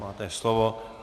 Máte slovo.